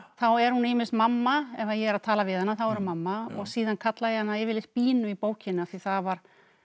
þá er hún ýmist mamma ef ég er að tala við hana þá er hún mamma og síðan kalla ég hana yfirleitt í bókinni af því það var